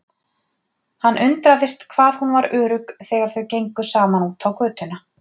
Hann undraðist hvað hún var örugg þegar þau gengu saman út á götuna.